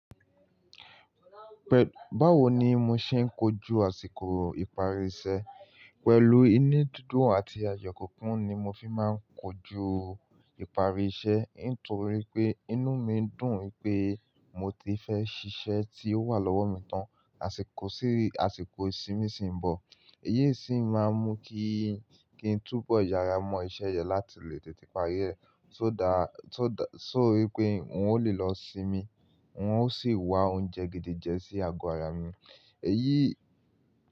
Báwo ni mo ṣe ń kojú àsìkò ìparí iṣẹ́? Pẹ̀lú inú dúdú àti àyò kùnkùn ni mo fi máa ń kojú ìparí iṣẹ́, nítorí pé inú mi ń dùn pé mo ti fẹ́ ṣiṣẹ́ tí ó wà lọ́wọ́ mi tán àsìkò sí, àsìkò ìsinmi sì ń bọ̀. Èyí sì máa ń mú kí, kí n túbọ̀ yára mọ iṣẹ́ yẹn láti lè tètè parí rẹ̀ tó dá, tó dá, sórí pé n ó lè lọ sinmi, wọ́n ó sì wá oúnjẹ gidi jẹ sí ago àrà mi. Èyí.